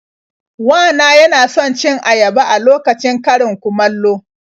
Wa na yana son cin ayaba a lokacin karin-kumallo.